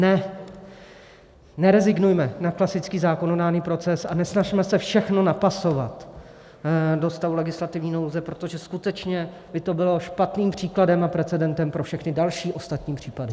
Nerezignujme na klasický zákonodárný proces a nesnažme se všechno napasovat do stavu legislativní nouze, protože skutečně by to bylo špatným příkladem a precedentem pro všechny další, ostatní případy.